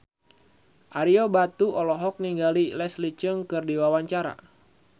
Ario Batu olohok ningali Leslie Cheung keur diwawancara